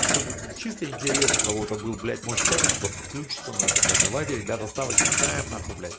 чтобы чисто интерес у кого-то был блять можешь в чате кто подключиться н блять давайте ребята ставочки ставим нахуй блять